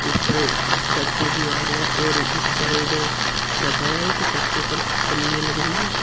ऊपर छत पे दीवार है और इस साइड छत हैं एक छत के ऊपर पन्नी लग रही हैं।